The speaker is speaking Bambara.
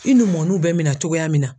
I numɔɔniw bɛ minɛn cogoya min na.